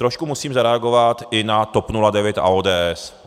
Trošku musím zareagovat i na TOP 09 a ODS.